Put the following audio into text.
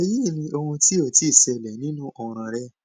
eyi ni ohun ti o ti ṣẹlẹ ninu ọran rẹ